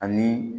Ani